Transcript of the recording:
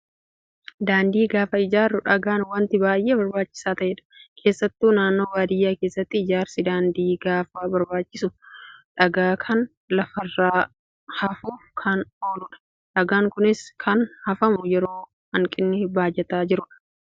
Daandii gaafa ijaarru dhagaan wanta baay'ee barbaachisaa ta'edha. Keessatti naannoo baadiyyaa keessatti ijaarsi daandii gaafa barbaachisu dhagaa kana lafarra hafuuf kan ooludha. Dhagaan Kunis kan hafamu yeroo hanqinni baajataa jirudha.